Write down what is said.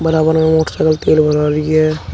बराबर में मोटरसाइकिल तेल भरवा रही है।